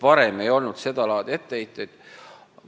Varem seda laadi etteheiteid ei olnud.